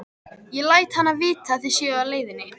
Ég læt hana vita að þið séuð á leiðinni.